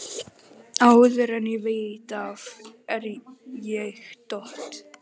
Áður en ég veit af er ég dott